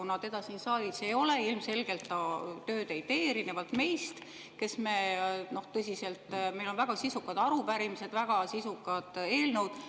Kuna teda siin saalis ei ole, siis ilmselgelt ta tööd ei tee, erinevalt meist, kellel on väga sisukad arupärimised, väga sisukad eelnõud.